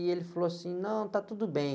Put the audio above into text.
E ele falou assim, não, está tudo bem.